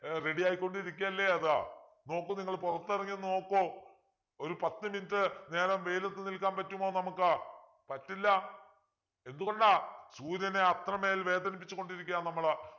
ഏർ ready യായിക്കൊണ്ടിരിക്കയല്ലേ അത് നോക്കൂ നിങ്ങൾ പുറത്തിറങ്ങി നോക്കൂ ഒരു പത്ത്‌ minute നേരം വെയിലത്ത് നിൽക്കാൻ പറ്റുമോ നമുക്ക് പറ്റില്ല എന്തുകൊണ്ട് സൂര്യനെ അത്രമേൽ വേദനിപ്പിച്ചു കൊണ്ടിരിക്കുകയാണ് നമ്മള്